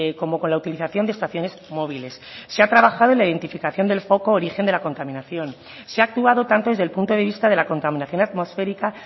como con la utilización de estaciones móviles se ha trabajado en la identificación del foco origen de la contaminación se ha actuado tanto desde el punto de vista de la contaminación atmosférica